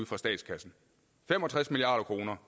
fra statskassen fem og tres milliard kroner